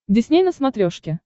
дисней на смотрешке